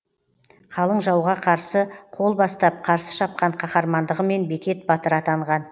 қалың жауға қарсы қол бастап қарсы шапқан қаһармандығымен бекет батыр атанған